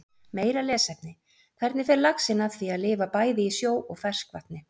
Meira lesefni: Hvernig fer laxinn að því að lifa bæði í sjó og ferskvatni?